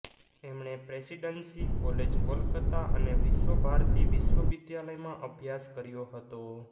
એમણે presidency college Kolkata અને વિશ્વભારતી વિશ્વવિદ્યાલયમાં અભ્યાસ કર્યો હતો